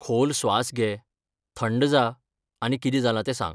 खोल स्वास घे, थंड जा आनी कितें जालां तें सांग.